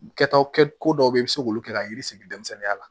Kɛtaw kɛ ko dɔw bɛ yen i bɛ se k'olu kɛ ka yiri sigi denmisɛnninya la